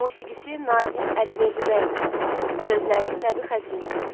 Musiqisi Nazim Əliverdibəyovun, sözləri Nəbi Xəzrininidir.